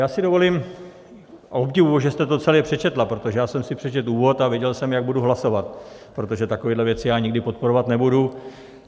Já si dovolím - a obdivuji - že jste to celé přečetla, protože já jsem si přečetl úvod a věděl jsem, jak budu hlasovat, protože takovéhle věci já nikdy podporovat nebudu.